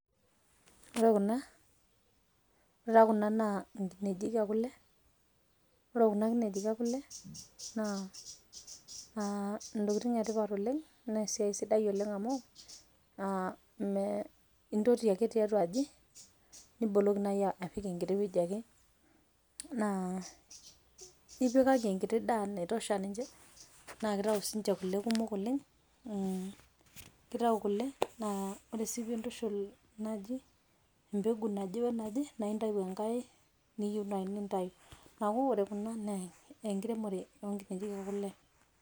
Ore kuna, ore taa kuna naa nkinejik e kule, ore kuna kinejik e kule naa naa ntokitin e tipat oleng naa esiai sidai oleng amu a me intoti ake tiatua aji niboloki nai apik enkiti wueji ake, naa ipikaki enkiti daa naitosha ninje naake itau siinje kule kumok oleng'. Kitau kule naa ore sii piintushul naji embegu naje we naje naake intayu enkae niyu nai nintayu. Neeku ore kuna naa enkiremore o nkiejik e kule.